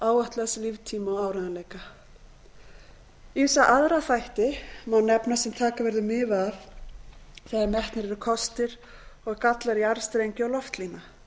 spennustigs áætlaðs líftíma og áreiðanleika ýmsa aðra þætti má nefna sem taka verður mið af þegar metnir eru kostir og gallar jarðstrengja og loftlína